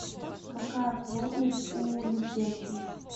какая плотность у лютеций